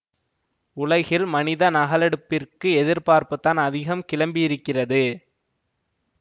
உலகில் மனித நகலெடுப்பிற்கு எதிர்ப்புதான் அதிகம் கிளம்பியிருக்கிறது